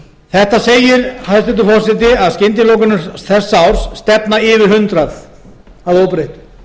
þetta segir hæstvirtur forseti að skyndilokanir þessa árs stefna yfir hundrað að óbreyttu þær hafa sem